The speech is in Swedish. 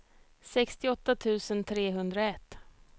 sextioåtta tusen trehundraett